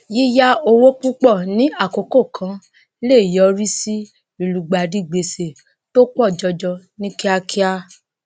yíya owó púpọ ní àkókò kan lè yọrí sí ilugbàdì gbèsè tó pọ jọjọ ní kíákíá